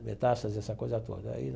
Metástase, essa coisa toda aí.